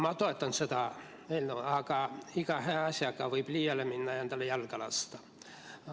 Ma toetan seda eelnõu, aga iga hea asjaga võib liiale minna ja endale jalga lasta.